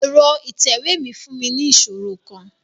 Ẹrọ itẹwe mi n fun mi ni iṣoro kan